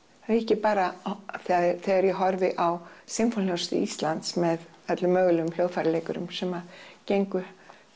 ekki bara af því þegar ég horfi á Íslands með öllum mögulegum hljóðfæraleikurum sem gengu